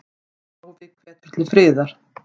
Páfi hvetur til friðar